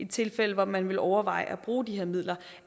tilfælde hvor man ville overveje at bruge de her midler